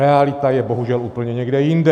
Realita je bohužel úplně někde jinde.